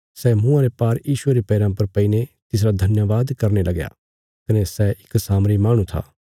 सै मुँआं रे भार यीशुये रे पैराँ पर पैईने तिसरा धन्यवाद करने लगया कने सै इक सामरी माहणु था